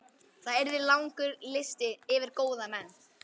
Það yrði langur listi yfir góða menn.